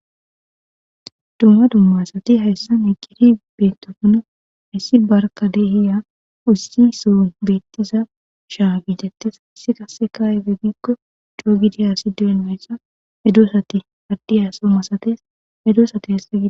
dumma dumma asati hayssan eqid bintokona hayssi barka dehiya ussi soon beettiza shaa giitettes hassi kasse kaaye be giikko coo gidi haasi deenmeyssa medosati addiya somasates medoosati hasa'gid